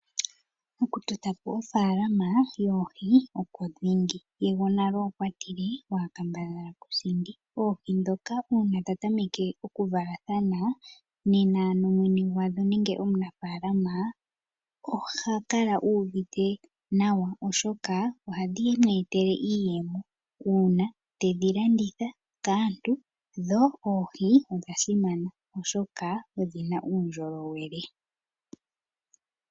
Oku totapo ofaalama yoohi okwo dhingi ye gwonale okwa tile, "waa kambadhala kusindi", oohi dhoka uuna dha tameke oku valathana nena mwene gwadho nenge omunafalaama oha kala uuvite nawa oshoka ohadhi mweetele iiyemo uuna tedhi landitha kaantu dho oohi odha simana oshoka odhina uundjolowele.